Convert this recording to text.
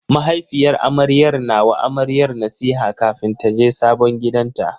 Mahaifiyar amaryar na wa amaryar nasiha kafin taje sabon gidanta.